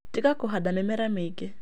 Tiga kũhanda mĩmera mĩingĩ